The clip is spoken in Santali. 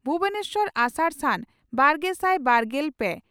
ᱵᱷᱩᱵᱚᱱᱮᱥᱚᱨ ᱟᱥᱟᱲᱼᱥᱟᱱ, ᱵᱟᱨᱜᱮᱥᱟᱭ ᱵᱟᱨᱜᱮᱞ ᱯᱮ